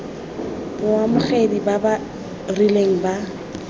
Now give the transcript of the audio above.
baamogedi ba ba rileng ba